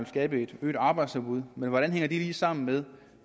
skabe et øget arbejdsudbud men hvordan hænger det lige sammen med